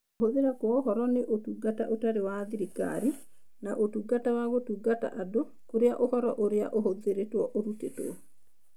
Kũhũthĩra kwa ũhoro nĩ Ũtungata Ũtarĩ wa Thirikari (NGOs) na Ũtungata wa Gũtungata Andũ(CSOs), kũrĩa ũhoro ũrĩa ũhũthĩrĩtwo ũrutĩtwo